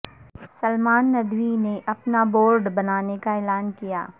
سلمان ندوی نے اپنا بورڈ بنانے کا اعلان کیا